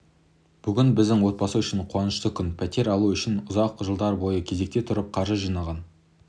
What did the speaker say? бүгін біздің отбасы үшін қуанышты күн пәтер алу үшін ұзақ жылдар бойы кезекте тұрып қаржы жинаған